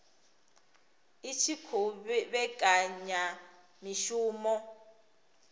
i tshi khou vhekanya mishumo